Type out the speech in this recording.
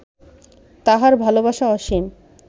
তাঁহার ভালবাসা অসীম